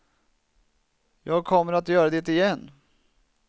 Jag kommer att göra det igen.